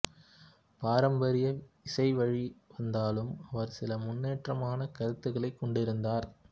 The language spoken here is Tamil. பாரம்பரிய இசை வழி வந்தாலும் அவர் சில முன்னேற்றமான கருத்துகளைக் கொண்டிருந்தார்